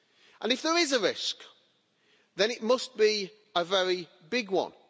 And if there is a risk, then it must be a very big one.